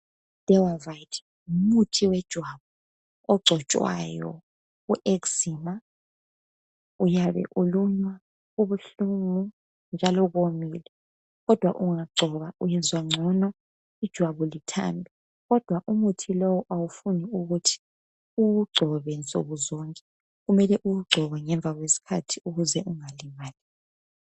I Dewavite ngumuthi wejwabu ogcotshwayo ku eczema Uyabe ulunywa kubuhlungu njalo komile kodwa ungagcoba uyezwa ngcono ijwabu lithambe. Kodwa umuthi lowu awufuni uwugcobe nsukuzonke . Kumele uwugcobe ngemva kwesikhathi ukuze ungalimali.